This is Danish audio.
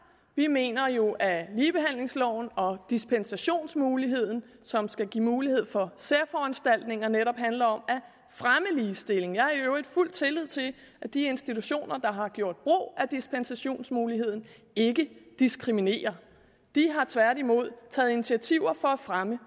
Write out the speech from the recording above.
vi mener jo at ligebehandlingsloven og dispensationsmuligheden som skal give mulighed for særforanstaltninger netop handler om at fremme ligestilling jeg har i øvrigt fuld tillid til at de institutioner der har gjort brug af dispensationsmuligheden ikke diskriminerer de har tværtimod taget initiativer for at fremme